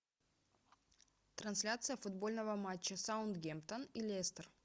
трансляция футбольного матча саутгемптон и лестер